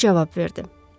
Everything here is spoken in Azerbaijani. Röv cavab verdi.